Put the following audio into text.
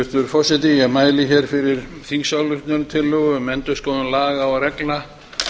hæstvirtur forseti ég mæli hér fyrir þingsályktunartillögu um endurskoðun laga og reglna